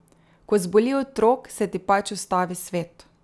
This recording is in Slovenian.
Ko zboli otrok, se ti pač ustavi svet.